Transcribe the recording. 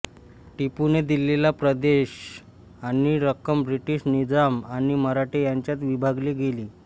टिपूने दिलेला प्रदेश आणि रक्कम ब्रिटिश निजाम आणि मराठे यांच्यात विभागली गेली